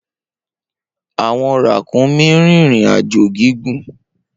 Awọn rakunmi rin irin-ajo gigun.